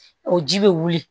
O ji bɛ wuli